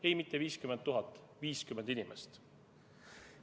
Ei, mitte 50 000, vaid 50 inimest.